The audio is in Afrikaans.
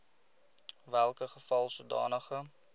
welke geval sodanige